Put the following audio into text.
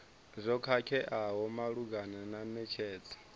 zwo khakheaho malugana na netshedzo